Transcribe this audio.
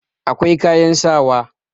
akwai kayan sawa